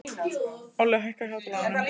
Olli, hækkaðu í hátalaranum.